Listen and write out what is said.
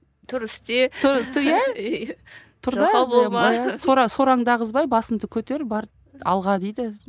тұр істе сораңды ағызбай басыңды көтер бар алға дейді